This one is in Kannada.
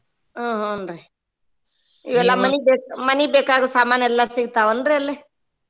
ಹ್ಮ್ ಹೂನ್ರಿ ಇವೆಲ್ಲಾ ಮನಿಗ್ ಮನಿಗ್ ಬೇಕಾಗೊ ಸಾಮಾನ್ ಎಲ್ಲಾ ಸಿಗ್ತಾವನ್ರೀ ಅಲ್ಲೆ?